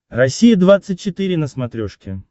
россия двадцать четыре на смотрешке